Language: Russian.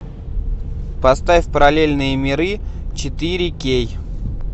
поставь параллельные миры четыре кей